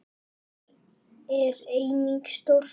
Þar er einnig stórt eldhús.